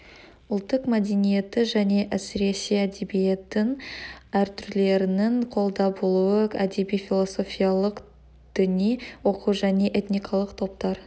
ұлттық мәдениетті және әсіресе әдебиеттің әр түрлерінің қолда болуы әдеби философиялық діни оқу және этникалық топтар